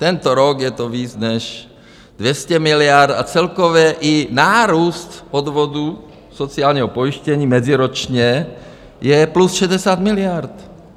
Tento rok je to víc než 200 miliard a celkově i nárůst odvodů sociálního pojištění meziročně je plus 60 miliard.